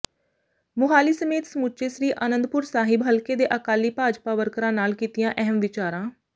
ਮੁਹਾਲੀ ਸਮੇਤ ਸਮੁੱਚੇ ਸ੍ਰੀ ਅਨੰਦਪੁਰ ਸਾਹਿਬ ਹਲਕੇ ਦੇ ਅਕਾਲੀ ਭਾਜਪਾ ਵਰਕਰਾਂ ਨਾਲ ਕੀਤੀਆਂ ਅਹਿਮ ਵਿਚਾਰਾਂ